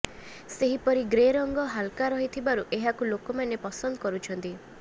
ସେହିପରି ଗ୍ରେ ରଙ୍ଗ ହାଲକା ରହିଥିବାରୁ ଏହାକୁ ଲୋକମାନେ ପସନ୍ଦ କରୁଛନ୍ତି